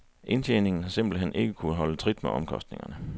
Indtjeningen har simpelt hen ikke kunnet holde trit med omkostningerne.